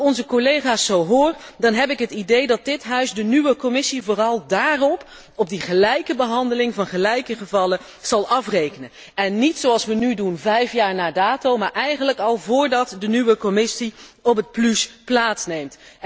Als ik onze collega's zo hoor, dan heb ik het idee dat dit parlement de nieuwe Commissie vooral daarop, op die gelijke behandeling van gelijke gevallen, zal afrekenen en niet, zoals wij nu doen, vijf jaar na dato, maar eigenlijk al voordat de nieuwe Commissie op het pluche plaatsneemt.